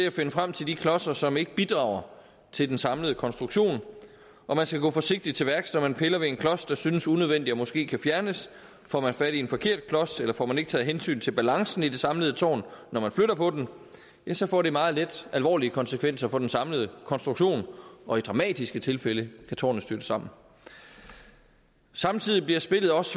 at finde frem til de klodser som ikke bidrager til den samlede konstruktion og man skal gå forsigtigt til værks når man piller ved en klods der synes unødvendig og måske kan fjernes får man fat i en forkert klods eller får man ikke taget hensyn til balancen i det samlede tårn når man flytter på den så får det meget let alvorlige konsekvenser for den samlede konstruktion og i dramatiske tilfælde kan tårnet styrte sammen samtidig bliver spillet også